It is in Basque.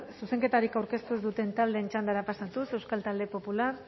zuzenketarik aurkeztu ez duten taldeen txandara pasatuz euskal talde popular